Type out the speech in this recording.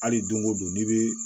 Hali don o don n'i bɛ